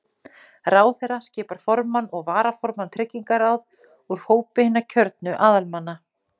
Ráðherra skipar formann og varaformann tryggingaráð úr hópi hinna kjörnu aðalmanna.